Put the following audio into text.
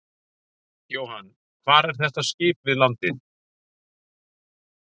Jóhann: Hvar er þetta skip við landið?